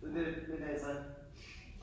Så det men altså